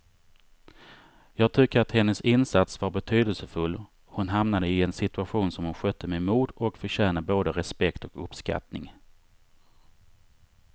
Jag tycker att hennes insats var betydelsefull, hon hamnade i en situation som hon skötte med mod och förtjänar både respekt och uppskattning.